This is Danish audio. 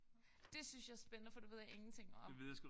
Det synes jeg er spændende for det ved jeg ingenting om